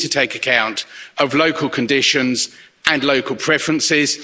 we need to take account of local conditions and local preferences.